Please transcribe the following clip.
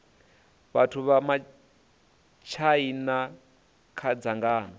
vhathu vha matshaina kha dzangano